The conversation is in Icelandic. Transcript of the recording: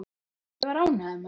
Ég var ánægður með það.